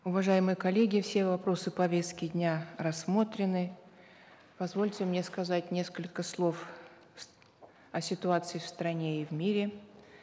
уважаемые коллеги все вопросы повестки дня рассмотрены позвольте мне сказать несколько слов о ситуации в стране и в мире